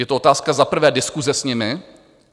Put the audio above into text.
Je to otázka za prvé diskuse s nimi.